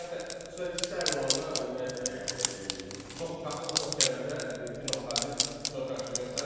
Ümumiyyətlə xüsusilə istə əl olanda ümumiyyətlə yəni çox qapısına top gələndə final xaric çox yaxşı göstərir.